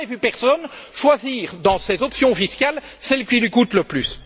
Je n'ai jamais vu personne choisir dans ses options fiscales celle qui lui coûte le plus.